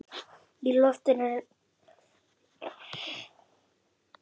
Í loftinu er ennþá ball.